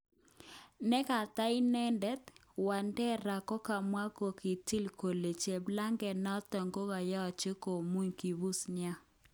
Nekata inedet, Wadekar kokamwa kokitil kole cheplaget noton koyoche komuny kipuse nia.